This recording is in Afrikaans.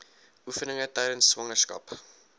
oefeninge tydens swangerskap